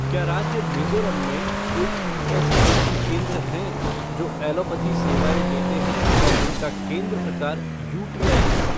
क्या राज्य मिज़ोरम में कोई ईएसआईसी केंद्र हैं जो एलोपैथी सेवाएँ देते हैं और जिनका केंद्र प्रकार यूटीआई है?